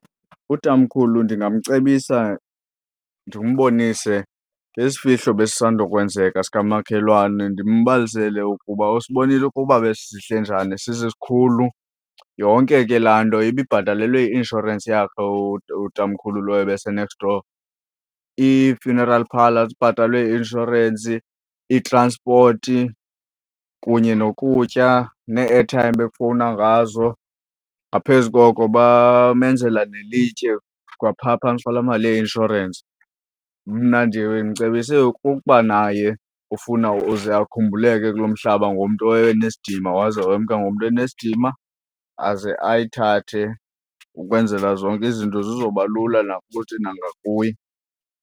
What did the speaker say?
Utamkhulu ndingamcebisa ndimbonise ngesifihlo ebesisandokwenzeka sikamakhelwane, ndimbalisele ukuba usibonile ukuba besisihle njani, sisikhulu. Yonke ke laa nto ibibhatalelwe yi-inshorensi yakhe utamkhulu, lo ebesenext door. Ii-funeral parlour zibhatalwe yi-inshorensi, itranspoti kunye nokutya nee-airtime bekufowunwa ngazo. Ngaphezu koko bamenzela nelitye kwapha phantsi kwalaa mali yeinshorensi. Mna ndimcebise ukuba naye ufuna uze akhumbuleke kulo mhlaba ngomntu owayenesidima waze wemka ngomntu enesidima, aze ayithathe ukwenzela zonke izinto zizoba lula nakuthi nangakuye.